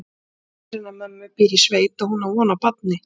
Systir hennar mömmu býr í sveit og hún á von á barni.